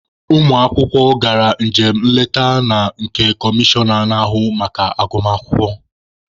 Ụmụ akwụkwọ gara njem nleta na nke comishọna na-ahụ maka agụmakwụkwọ.